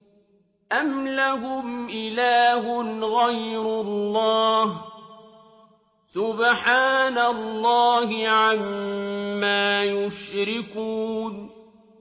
أَمْ لَهُمْ إِلَٰهٌ غَيْرُ اللَّهِ ۚ سُبْحَانَ اللَّهِ عَمَّا يُشْرِكُونَ